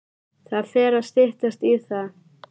Það fer að styttast í það.